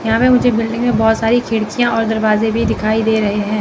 यहाँ पे मुझे बिल्डिंग मे बहोत सारी खिड़कियां और दरवाजे भी दिखाई दे रहे हैं।